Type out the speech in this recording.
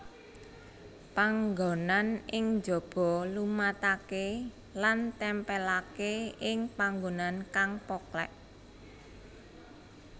Panganggonan ing jaba lumataké lan tèmpèlaké ing panggonan kang poklèk